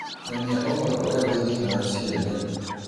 nyonia ũhoro ũrĩa ũrĩ thĩinĩ wa c. n. n.